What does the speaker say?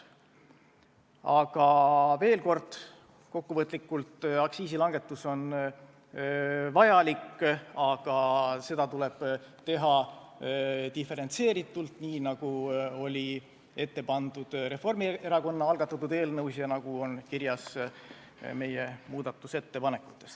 Aga veel kord kokkuvõtlikult: aktsiisi langetamine on vajalik, aga seda tuleb teha diferentseeritult, nii nagu oli ette pandud Reformierakonna algatatud eelnõus ja nagu on kirjas meie muudatusettepanekutes.